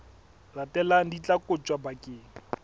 latelang di tla kotjwa bakeng